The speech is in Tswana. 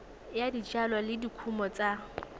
ya dijalo le dikumo tsa